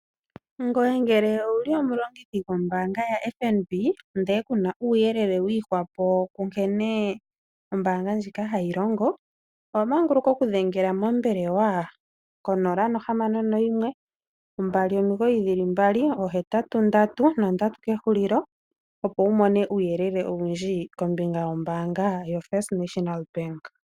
Ngoye ngele owuli omulongithi gombaanga yaFNB ndele ku na uuyelele wi ihwapo ku nkene ombaanga ndjoka hayi longo, owa manguluka oku dhengela mombelewa ko 0612998883 opo wu mone uuyelele owundji kombinga yombaanga yoFirst National Bank.